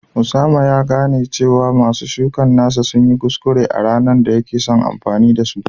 Osama ya gane cewa masu shukar nasa sun yi kuskure a ranar da yake son amfani da su